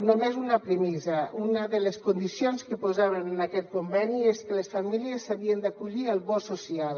només una premissa una de les condicions que posàvem en aquest conveni és que les famílies s’havien d’acollir al bo social